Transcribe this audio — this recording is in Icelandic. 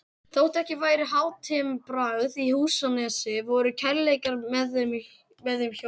Þótt ekki væri hátimbrað í Húsanesi voru kærleikar með þeim hjónum